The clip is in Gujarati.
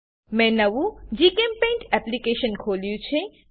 મેં નવું જીચેમ્પેઇન્ટ એપ્લીકેશન ખોલ્યું છે